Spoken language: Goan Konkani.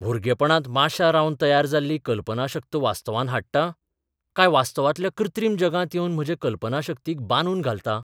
भुरगेपणांत माश्यां रावन तयार जाल्ली कल्पनाशक्त वास्तवांत हाडटां, काय वास्तवांतल्या कृत्रिम जगांत येवन म्हजे कल्पनाशक्तीक बांदून घालतां?